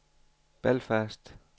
Belfast